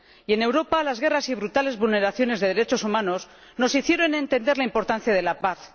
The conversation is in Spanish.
Y en Europa, las guerras y brutales vulneraciones de derechos humanos nos hicieron entender la importancia de la paz.